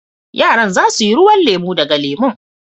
Yaran za su yi ruwan lemu daga lemun.